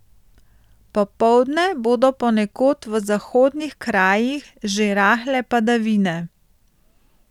Popoldne bodo ponekod v zahodnih krajih že rahle padavine.